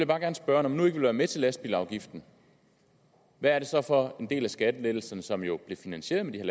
bare gerne spørge når man nu ikke vil være med til lastbilsafgiften hvad er det så for en del af skattelettelserne som jo blev finansieret